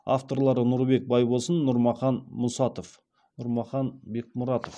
авторлары нұрбек байбосын нұрмахан мұсатов нұрмахан бекмұратов